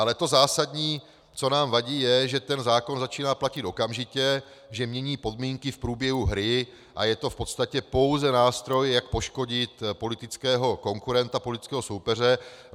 Ale to zásadní, co nám vadí, je, že ten zákon začíná platit okamžitě, že mění podmínky v průběhu hry a je to v podstatě pouze nástroj, jak poškodit politického konkurenta, politického soupeře.